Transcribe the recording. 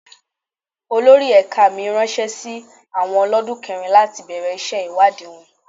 Olórí ẹ̀ka mi ránṣẹ́ sí àwọn olodun kẹrin láti bẹ̀rẹ̀ iṣẹ́ ìwádìí wọn.